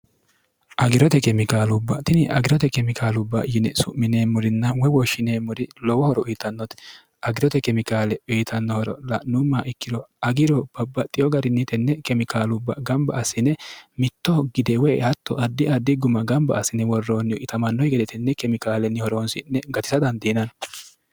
agirote kemikaalubba tini agirote kemikaalubba yine su'mineemmorinna woy woshshineemmori lowo horo uyitannote agirote kemikaale uyitanno horo la'nummoha ikkiro agiro babaxxiyo garinni tenne kemikaalubba gamba asine mittoho gide woy hatto addi addi guma gamba asine worroonnihu itamannoki gede tenne kemikaalenni horoonsi'ne gatisa dandiinanni.